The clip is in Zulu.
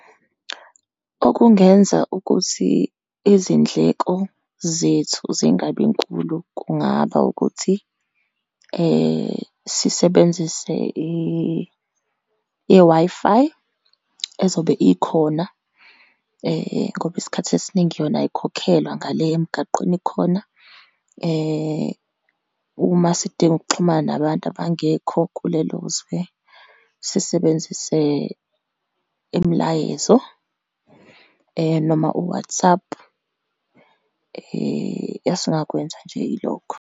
Okungenza ukuthi izindleko zethu zingabinkulu, kungaba ukuthi sisebenzise i-Wi-Fi ezobe ikhona ngoba isikhathi esiningi yona ayikhokhelwa ngale emgaqweni ikhona, uma sidinga ukuxhumana nabantu abangekho kulelozwe, sisebenzise imilayezo, noma u-WhatsApp. Esingakwenza nje ilokho.